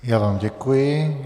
Já vám děkuji.